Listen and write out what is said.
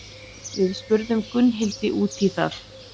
Við spurðum Gunnhildi út í það.